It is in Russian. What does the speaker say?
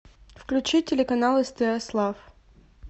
включи телеканал стс лав